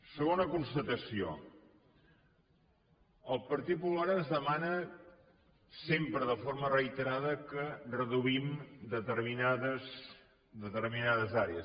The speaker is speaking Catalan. segona constatació el partit popular ens demana sempre de forma reiterada que reduïm determinades àrees